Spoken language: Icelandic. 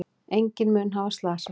Enginn mun hafa slasast.